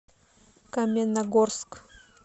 каменногорск